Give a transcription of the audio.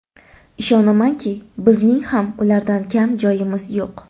Ishonamanki, bizning ham ulardan kam joyimiz yo‘q.